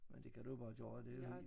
Men det kan du jo bare gøre det jo helt